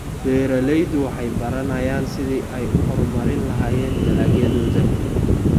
Beeraleydu waxay baranayaan sidii ay u horumarin lahaayeen dalagyadooda.